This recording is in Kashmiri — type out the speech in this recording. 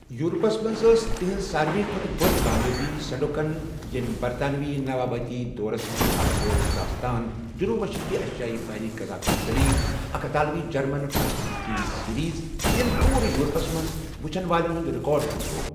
یورپس منٛز ٲسۍ تہنٛز ساروِے کھوتہٕ بٔڑ کامیٲبی سینڈوکن ییٚمۍ برطانوی نوآبادیاتی دورس منٛز اکھ لولہٕ داستان جنوب مشرقی ایشیٲیی بحری قزاقٕچ دلیٖل، اکھ اطالوی جرمن فرانسیسی ٹی وی سیریز ییٚمۍ پورٕ یورپس منٛز وٕچھن والٮ۪ن ہُنٛد رِیکارڈ پھتراو